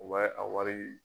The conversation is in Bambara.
U b'a ye a wari